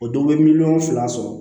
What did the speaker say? O dɔw bɛ miliyɔn fila sɔrɔ